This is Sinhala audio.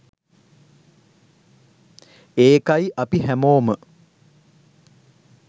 ඒකයි අපි හැමෝම